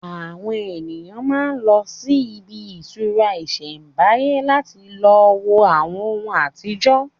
Àwọn èèyàn máa n lọ sí ibi ìtura ìsẹ̀mbáyé láti lo wo àwọn ohùn àtijọ́